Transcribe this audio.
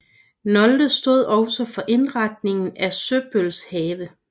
Nolde stod også for indretningen af Søbøls have